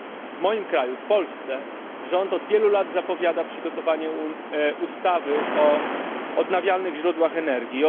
W moim kraju w Polsce rząd od wielu lat zapowiada przygotowanie ustawy o odnawialnych źródłach energii.